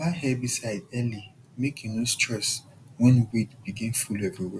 buy herbicide early make you no stress when weed begin full everywhere